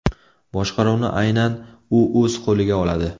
Boshqaruvni aynan u o‘z qo‘liga oladi.